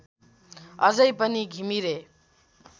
अझै पनि घिमिरे